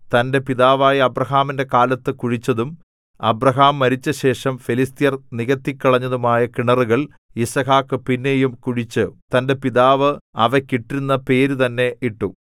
തന്റെ പിതാവായ അബ്രാഹാമിന്റെ കാലത്ത് കുഴിച്ചതും അബ്രാഹാം മരിച്ചശേഷം ഫെലിസ്ത്യർ നികത്തിക്കളഞ്ഞതുമായ കിണറുകൾ യിസ്ഹാക്ക് പിന്നെയും കുഴിച്ച് തന്റെ പിതാവ് അവയ്ക്ക് ഇട്ടിരുന്ന പേരു തന്നെ ഇട്ടു